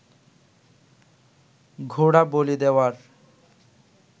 ঘোড়া বলি দেওয়ার